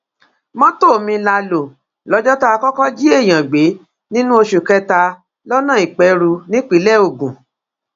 mọtò mi la lò lọjọ tá a kọkọ jí èèyàn gbé nínú oṣù kẹta lọnà ìpẹrù nípínlẹ ogun